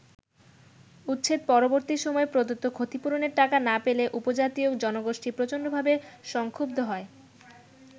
উচ্ছেদ-পরবর্তী সময়ে প্রদত্ত ক্ষতিপূরণের টাকা না পেলে উপজাতীয় জনগোষ্ঠী প্রচণ্ডভাবে সংক্ষুব্ধ হয়।